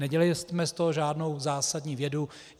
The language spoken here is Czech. Nedělejme z toho žádnou zásadní vědu.